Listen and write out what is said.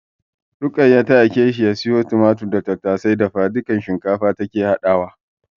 Ruqayya ta aike shi ya siyo tumatir da tattasai. Dafadukan shinkafa take haɗawa.